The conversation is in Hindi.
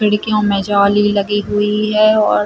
खिड़कियों में जाली लगी हुई है और --